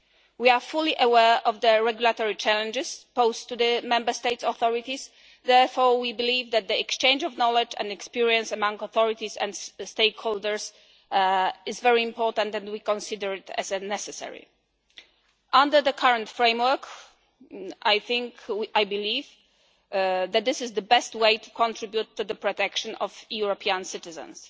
We are fully aware of the regulatory challenges posed to the Member States' authorities, therefore we believe that the exchange of knowledge and experience among authorities and stakeholders is very important, and we consider it a necessity. Under the current framework, I believe that this is the best way to contribute to the protection of European citizens.